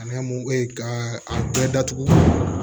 Ani mun e ka a bɛɛ datugu